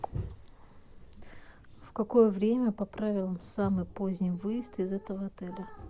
в какое время по правилам самый поздний выезд из этого отеля